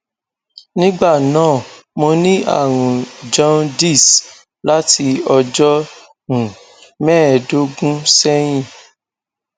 nígbà náà mo ní àrùn jaundice láti ọjọ um mẹẹẹdógún sẹyìn